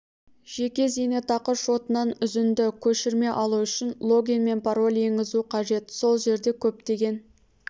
жеке зейнетақы шотынан үзінді көшірме алу үшін логин мен пароль енгізу қажет сол жерде көптеген